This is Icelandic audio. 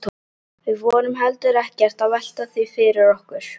Við vorum heldur ekkert að velta því fyrir okkur.